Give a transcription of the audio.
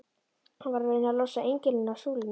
Hann var að reyna að losa engilinn af súlunni!